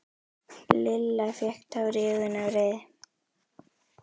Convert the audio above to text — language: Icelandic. Lilla fékk tár í augun af reiði.